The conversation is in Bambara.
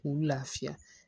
K'u lafiya